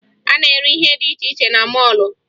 A na-ere ihe dị iche iche na mọọlụ